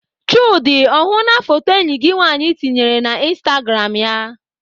Chude ọ hụla foto enyi gị nwaanyị tinyere na instagram ya?